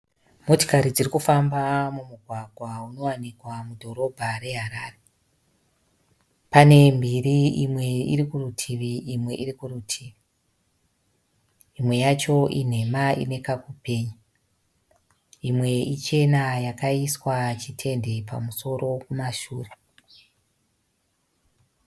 Motokari dziri kufamba mumugwagwa unowanikikwa mudhoroba reHarare. Pane mbiri imwe iri kurutivi imwe iri kurutivi. Imwe yacho inhema ine kakupenya. Imwe ichena yakaiswa chitende pamusoro kumashure.